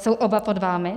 Jsou oba pod vámi?